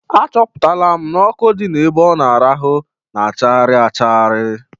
Achọpụtara m n'ọkụ dị ebe ọ na-arahụ na achagharị achagharị.